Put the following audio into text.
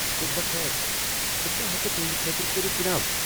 صبح بخیر بہٕ کیٛاہ ہیکہٕ تہنٛد خٲطرٕ کٔرتھ، جناب؟